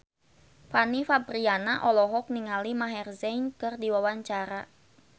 Fanny Fabriana olohok ningali Maher Zein keur diwawancara